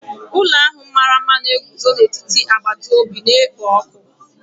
Ụlọ ahụ mara mma na-eguzo n'etiti agbata obi na-ekpo ọkụ.